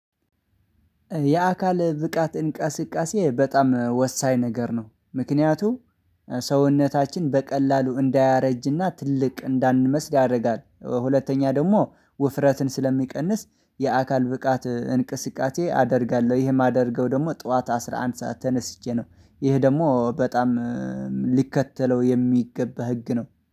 የአካል ብቃት እንቃስቃሴ በጣም ወሳኝ ነገር ነው። ምክንያቱም ሰውነታችን በቀላሉ እንዳያረጅና ትልቅ እንዳንመስል ያረጋል ሁለተኛ ደግሞ ውፍረትን ስለሚቀንስ የአካል ብቃት እንቅስቃሴ አደርጋለሁ ይሄ የማደርገው ደግሞ ጡዋት አስራ አንድ ሰዓት ተነስቼ ነው። ይሄ ደግሞ በጣም ሊከተለው የሚገባ ህግ ነው።